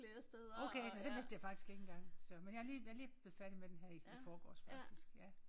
Okay nåh det vidste jeg faktisk ikke engang så men jeg er lige jeg er lige blevet færdig med den her i i forgårs faktisk ja